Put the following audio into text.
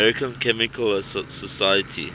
american chemical society